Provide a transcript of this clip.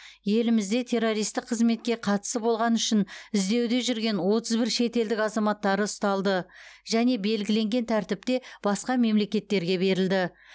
елімізде террористік қызметке қатысы болғаны үшін іздеуде жүрген отыз бір шетелдік азаматтары ұсталды және белгіленген тәртіпте басқа мемлекеттерге берілді